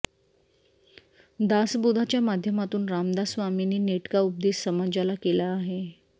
दासबोधाच्या माध्यमातून रामदास स्वामींनी नेटका उपदेश समाजाला केला आहे